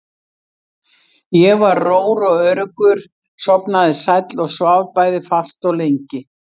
Ég var rór og öruggur, sofnaði sæll og svaf bæði fast og lengi.